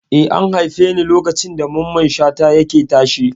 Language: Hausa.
Eh, an haife ni lokacin da Mamman Shata yake tashe.